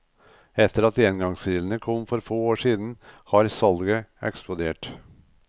Etter at engangsgrillene kom for få år siden, har salget eksplodert.